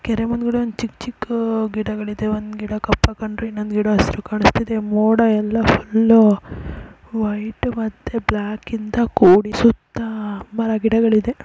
ಕೆರೆ ಮುಂದ್ ಗಡೆ ಚಿಕ್ಕ್ ಚಿಕ್ಕ್ ಗಿಡಗಳಿದೆ ಒಂದ್ ಗಿಡ ಕಪ್ಪಾಗ್ ಇನ್ನೊಂದು ಗಿಡ ಹಸ್ರಾಗಿ ಕಾಣಿಸ್ತಿದೆ ಮೋಡ ಎಲ್ಲ ಫುಲ್ಲು ವೈಟ್ ಮತ್ತೆ ಬ್ಲಾಕ್ ಇಂದ ಕೂಡಿಸುತ್ತಾ ಮರಗಿಡಗಳ್ ಇದೆ.